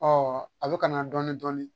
a bɛ ka na dɔɔnin dɔɔnin